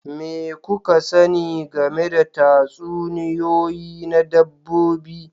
Me kuka sani game da tatsuniyoyi na dabbobi